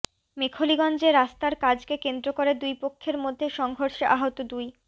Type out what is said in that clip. মেখলিগঞ্জে রাস্তার কাজকে কেন্দ্র করে দুই পক্ষের মধ্যে সংঘর্ষে আহত দুই